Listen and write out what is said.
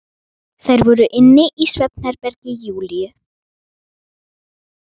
Þær voru inni í svefnherbergi Júlíu.